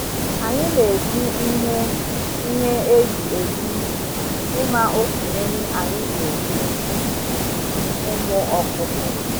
Anyi na eji ihe ihe eji ele ibu ima oke nri anyi ga enye ụmụ ọkụkọ